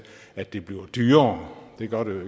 at det bliver dyrere det gør det